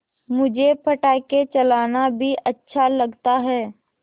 मुझे पटाखे चलाना भी अच्छा लगता है